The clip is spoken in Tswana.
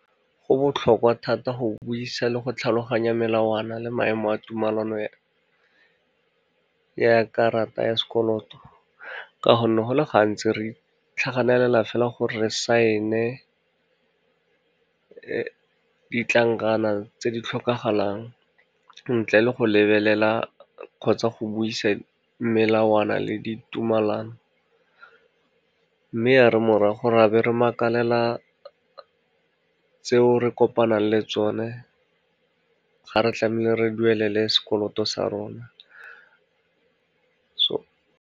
Go botlhokwa thata go buisa le go tlhaloganya melawana le maemo a tumelano ya karata ya sekoloto, ka gonne go le gantsi re itlhaganela fela gore re saene ditlankana tse di tlhokagalang, ntle le go lebelela kgotsa go buisa melawana le ditumalano, mme ya re morago ra be re makalela tseo re kopanang le tsone, ga re tlamehile re duelele sekoloto sa rona .